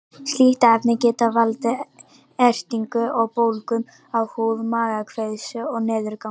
Slík efni geta valdið ertingu og bólgum á húð, magakveisu og niðurgangi.